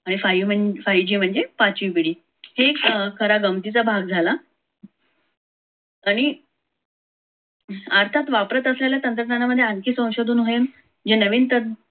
आणि five g म्हणजे पाचवी पिढी. हे खरा गमतीचा भाग झाला. आणि आताच वापरत असलेल्या तंत्रज्ञानामध्ये आणखी संशोधन होईल. जे नवीन तंत्रज्ञान